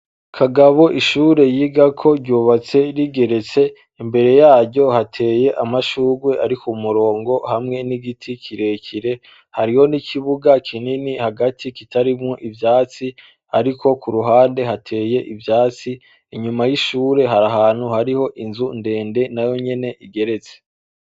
Kagabo ishure yigako ryubatse rigeretse ,imbere yaryo hateye amashurwe ari kumurongo hamwe n’igiti kirekire, hariho n’ikibuga kinini hagati kitarimwo ivyatsi ariko kuruhande hateye ivyatsi, inyuma y’ishure har’ahantu hari inzu ndende nayo nyene igeretse.